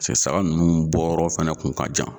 Pese saba ninnu bɔ yɔrɔ fana kun ka jan.